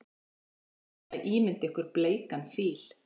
Reynið að ímynda ykkur bleikan fíl.